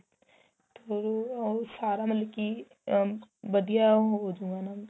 ਉਹ ਉਹ ਸਾਰਾ ਮਤਲਬ ਕੀ ਉਮ ਵਧੀਆ ਹੋ ਜੂਗਾ ਨਾ